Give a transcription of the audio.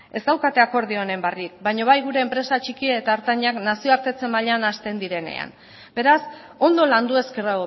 baina bai gure enpresa txiki eta ertainak nazioartetze mailan hasten direnean beraz ondo landu ezkero